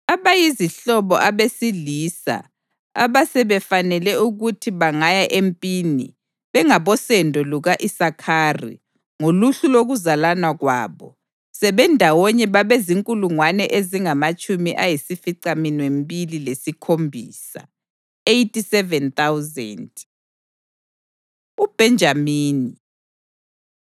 Abayizihlobo abesilisa abasebefanele ukuthi bangaya empini bengabosendo luka-Isakhari, ngoluhlu lokuzalana kwabo, sebendawonye babezinkulungwane ezingamatshumi ayisificaminwembili lesikhombisa (87,000). UBhenjamini